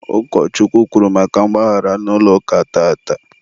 ukochukwu kwuru maka mgbaghara n'ụlọ ụka tata.